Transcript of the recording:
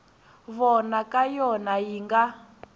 vona ka yona yi nga